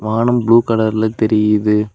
வானம் ப்ளூ கலர்ல தெரியுது.